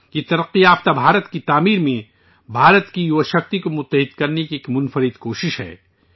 یہ ترقی یافتہ ہندوستان کی تعمیر میں بھارت کی نوجوان طاقت کو متحد کرنے کی ایک انوکھی کوشش ہے